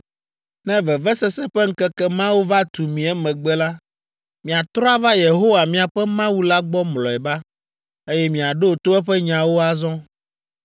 Ne vevesese ƒe ŋkeke mawo va tu mi emegbe la, miatrɔ ava Yehowa, miaƒe Mawu la gbɔ mlɔeba, eye miaɖo to eƒe nyawo azɔ,